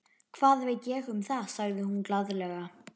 Hvað veit ég um það? sagði hún glaðlega.